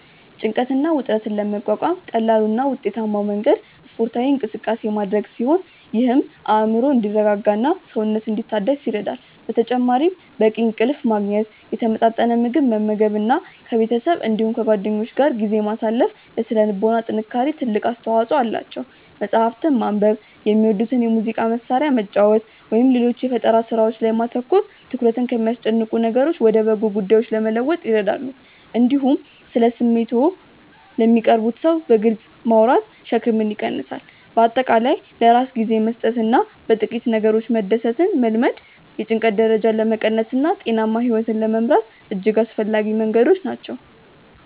ጭንቀትን እና ውጥረትን ለመቋቋም ቀላሉ እና ውጤታማው መንገድ ስፖርታዊ እንቅስቃሴ ማድረግ ሲሆን ይህም አእምሮ እንዲረጋጋና ሰውነት እንዲታደስ ይረዳል። በተጨማሪም በቂ እንቅልፍ ማግኘት፣ የተመጣጠነ ምግብ መመገብ እና ከቤተሰብ እንዲሁም ከጓደኞች ጋር ጊዜ ማሳለፍ ለሥነ ልቦና ጥንካሬ ትልቅ አስተዋጽኦ አላቸው። መጽሐፍትን ማንበብ፣ የሚወዱትን የሙዚቃ መሣሪያ መጫወት ወይም ሌሎች የፈጠራ ሥራዎች ላይ ማተኮር ትኩረትን ከሚያስጨንቁ ነገሮች ወደ በጎ ጉዳዮች ለመለወጥ ይረዳሉ። እንዲሁም ስለ ስሜቶችዎ ለሚቀርቡዎት ሰው በግልጽ ማውራት ሸክምን ይቀንሳል። በአጠቃላይ ለራስ ጊዜ መስጠትና በጥቂት ነገሮች መደሰትን መልመድ የጭንቀት ደረጃን ለመቀነስና ጤናማ ሕይወት ለመምራት እጅግ አስፈላጊ መንገዶች ናቸው።